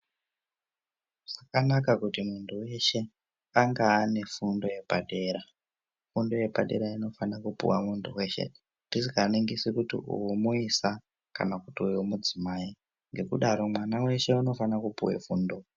Zvakanaka kuti muntu weshe anga ane fundo yepadera .Fundo yepadera inofana kupuwa muntu weshe tisikaningisi kuti uyu muisa kana kuti uyu mudzimai ,ngekudaro mwana weshe unofane kupuwe fundo.